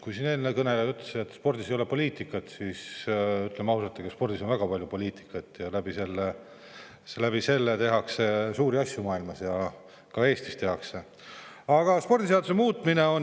Kui siin eelmine kõneleja ütles, et spordis ei ole poliitikat, siis ütleme ausalt, et spordis on väga palju poliitikat ja selle abil tehakse suuri asju mujal maailmas ja ka Eestis.